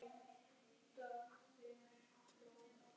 Lilla fylgdu á eftir henni.